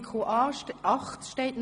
In Artikel 8 GO steht noch: